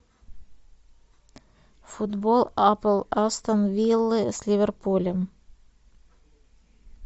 футбол апл астон виллы с ливерпулем